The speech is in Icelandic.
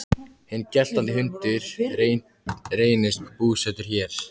Hinn geltandi hundur reynist búsettur hér.